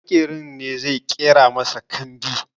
Maƙeri ne zai ƙera masa kambi